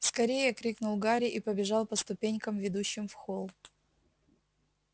скорее крикнул гарри и побежал по ступенькам ведущим в холл